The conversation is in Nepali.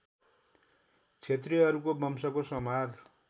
क्षत्रियहरूको वंशको संहार